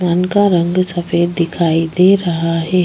मान का रंग सफ़ेद दिखाई दे रहा है।